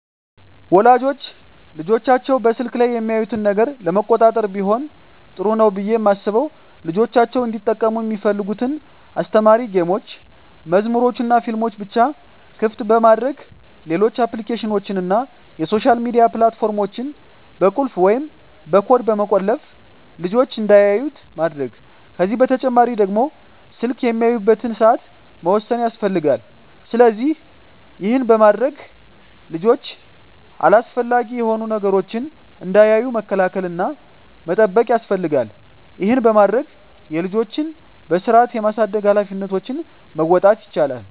ወላጆች ልጆቻቸው በስልክ ላይ የሚያዩትን ነገር ለመቆጣጠር ቢሆን ጥሩ ነው ብየ ማስበው ልጆቻቸው እንዲጠቀሙ ሚፈልጉትን አስተማሪ ጌሞችን፣ መዝሙሮችንናፊልሞችን ብቻ ክፍት በማድረግ ሌሎች አፕሊኬሽኖችን እና የሶሻል ሚዲያ ፕላት ፎርሞችን በቁልፍ ወይም በኮድ በመቆለፍ ልጅች እንዳያዩት ማድረግ ከዚህ በተጨማሪ ደግሞ ስልክ የሚያዩበትን ሰአት መወሰን ያስፈልጋል። ስለዚህ ይህን በማድረግ ልጆች አላስፈላጊ የሆኑ ነገሮችን እንዳያዩ መከላከል እና መጠበቅ ያስፈልጋል ይህን በማድረግ የልጆችን በስርአት የማሳደግ ሀላፊነቶችን መወጣት ይቻላል።